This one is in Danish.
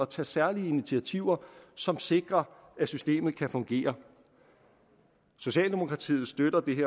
tage særlige initiativer som sikrer at systemet kan fungere socialdemokratiet støtter dette